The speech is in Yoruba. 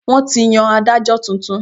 Wọn ti yàn Ádájọ́ tuntun.